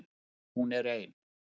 Hún er ein.